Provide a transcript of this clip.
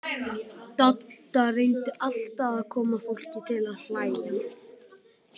Dadda reyndi alltaf að koma fólki til að hlæja.